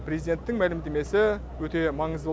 президенттің мәлімдемесі өте маңызды